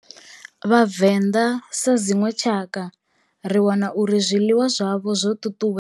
Vhavenḓa sa dzinwe tshakha ri wana uri zwiḽiwa zwavho zwo ṱuṱuwe.